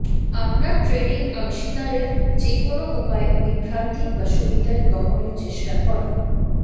আপনার ট্রেডিং অংশীদারের যেকোনো উপায়ে বিভ্রান্তি বা সুবিধা গ্রহণের চেষ্টা করা